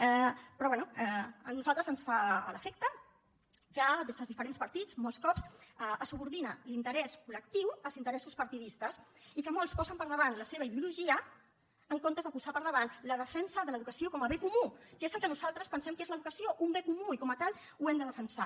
però bé a nosaltres ens fa l’efecte que des dels diferents partits molts cops es subordina l’interès col·lectiu als interessos partidistes i que molts posen per davant la seva ideologia en comptes de posar per davant la defensa de l’educació com a bé comú que és el que nosaltres pensem que és l’educació un bé comú i com a tal l’hem de defensar